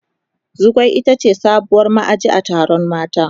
Zugwai ita ce sabuwar ma'aji a taron mata.